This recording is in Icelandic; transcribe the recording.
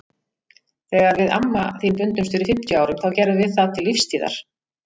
Þegar við amma þín bundumst fyrir fimmtíu árum þá gerðum við það til lífstíðar.